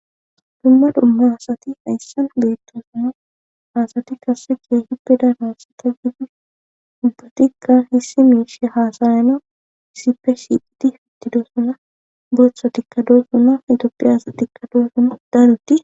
dumma dumma asati ayssan beettosuna hasati kasse keehippe danassita gidi dubbatikkan hissi meishe haasayana zipe siidi fittido suna beetha dikkadoo suna itopphi aasa dikkado suna daanutti